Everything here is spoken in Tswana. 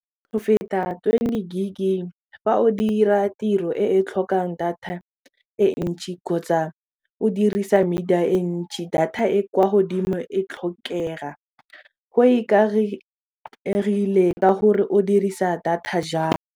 Go feta twenty gig-i fa o dira tiro e e tlhokang data e ntšhi kgotsa o dirisa media e ntšhi data e kwa godimo e tlhokega go ikaegile ka gore o dirisa data.